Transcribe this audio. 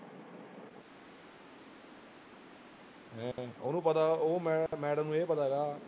ਮੈਂ ਉਹਨੂੰ ਪਤਾ ਉਹ ਮੈ madam ਨੂੰ ਇਹ ਪਤਾ ਗਾ